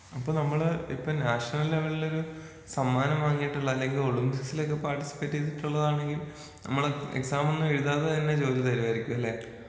അപ്പോ നമ്മള് ഇപ്പോ നാഷണൽ ലെവലിലൊരു സമ്മാനം വാങ്ങിയിട്ടുള്ള അല്ലെങ്കിൽ ഒളിമ്പിക്സിലൊക്കെ പാർട്ടിസിപ്പേറ്റ് ചെയ്തിട്ടുള്ളതാണെങ്കിലും നമ്മള് എക്സാമൊന്നും എഴുതാതെ തന്നെ ജോലി തരുവായിരിക്കുമല്ലേ?